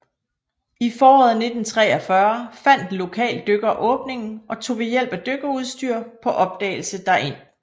I foråret 1943 fandt en lokal dykker åbningen og tog ved hjælp af dykkerudstyr på opdagelse derind